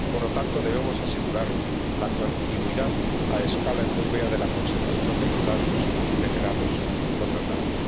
Por lo tanto, debemos asegurar la continuidad a escala europea de la conservación de los datos generados o tratados.